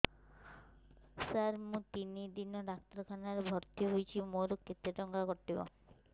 ସାର ମୁ ତିନି ଦିନ ଡାକ୍ତରଖାନା ରେ ଭର୍ତି ହେଇଛି ମୋର କେତେ ଟଙ୍କା କଟିବ